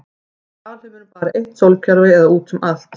er alheimurinn bara eitt sólkerfi eða útum allt